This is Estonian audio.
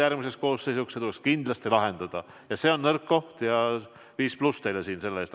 Järgmiseks koosseisuks see tuleb kindlasti lahendada, see on nõrk koht ja 5+ teile siin selle eest.